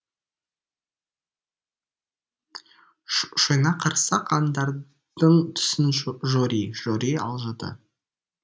шойнақ қарсақ аңдардың түсін жори жори алжыды